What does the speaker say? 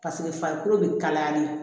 Paseke farikolo bɛ kalayali